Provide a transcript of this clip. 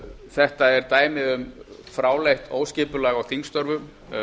þetta er dæmi um fráleitt skipulag á þingstörfum